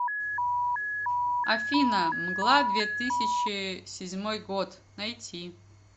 афина мгла две тысячи седьмой год найти